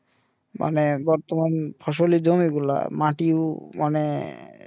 মানে বর্তমান ফসলের জমি গুলা মাটিও মানে